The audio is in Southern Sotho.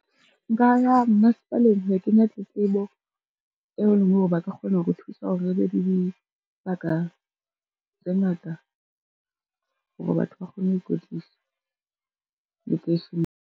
Nka ya masepaleng ho yo kenya tletlebo, e leng hore ba ka kgona ho re thusa hore re be di di baka tse ngata hore batho ba kgone ho ikwetlisa lekeisheneng.